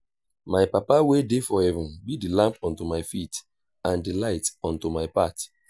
my papa wey dey for heaven be the lamp unto my feet and the light unto my path